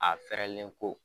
A fɛɛrɛlen ko